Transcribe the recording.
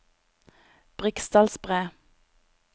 Briksdalsbre